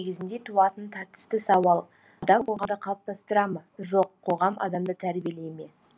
негізінде туатын тартысты сауал адам қоғамды қалыптастыра ма жоқ қоғам адамды тәрбиелей ме